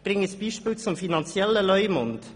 Ich nenne ein Beispiel zum finanziellen Leumund.